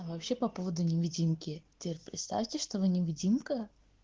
вообще по поводу невидимки теперь представьте что вы невидимка